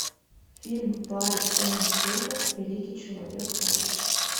фильм барри зонненфельда великий человек паук